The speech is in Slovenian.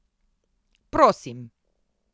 Prosim.